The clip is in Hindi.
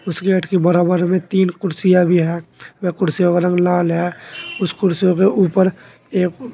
उस गेट के बराबर में तीन कुर्सियां भी हैं वह कुर्सियों का रंग लाल है उस कुर्सियों के ऊपर ए--